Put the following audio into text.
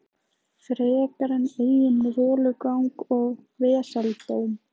Frekar en eigin rolugang og vesaldóm.